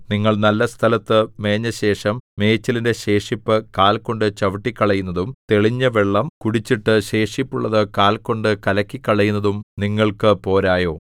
നിങ്ങൾ നല്ല സ്ഥലത്തു മേഞ്ഞശേഷം മേച്ചിലിന്റെ ശേഷിപ്പ് കാൽ കൊണ്ട് ചവിട്ടിക്കളയുന്നതും തെളിഞ്ഞവെള്ളം കുടിച്ചിട്ട് ശേഷിപ്പുള്ളത് കാൽ കൊണ്ട് കലക്കിക്കളയുന്നതും നിങ്ങൾക്ക് പോരായോ